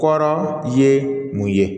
Kɔrɔ ye mun ye